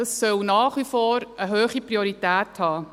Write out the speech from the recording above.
Das soll nach wie vor eine hohe Priorität haben.